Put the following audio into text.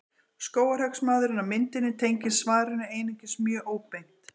Skógarhöggsmaðurinn á myndinni tengist svarinu einungis mjög óbeint.